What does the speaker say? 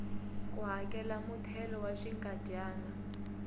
ku hakela muthelo wa xinkadyana